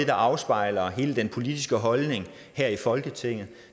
der afspejler hele den politiske holdning her i folketinget og